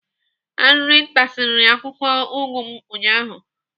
Arịrị tarisiri akwụkwọ ụgụ m ụnyaahụ.